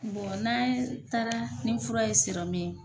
n'a taara ni fura ye ye